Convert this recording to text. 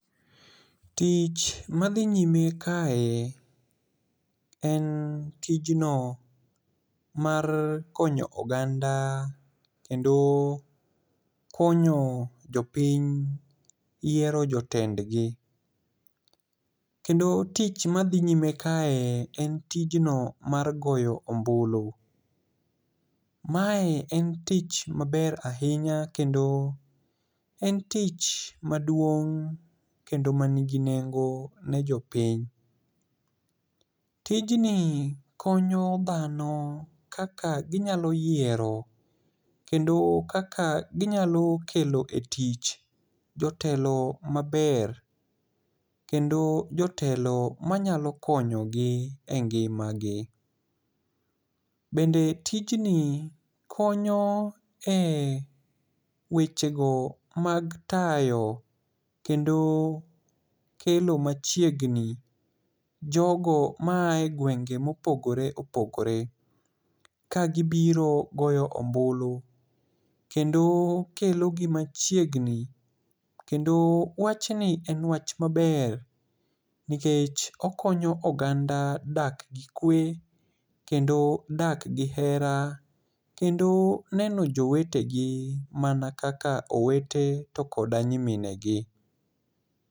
Tich madhi nyime kae en tijno mar konyo oganda kendo konyo jopiny yiero jotendgi. Kendo tich madhi nyime kae en tijno mar goyo ombulu. Mae en tich maber ahinya kendo en tich maduong' kendo manigi nengo ne jopiny. Tijni konyo dhano kaka ginyalo yiero kendo kaka ginyalo kelo e tich jotelo maber kendo jotelo manyalo konyogi e ngimagi. Bende tijni konyo e wechego mag tayo kendo kelo machiegni jogo maaye gwenge mopogore opogore ka gibiro goyo ombulu kendo kelogi machiegni kendo wachni en wach maber nikech okonyo oganda dak gi kwe kendo dak gi hera kendo neno jowetegi mana kaka owete to koda nyiminegi.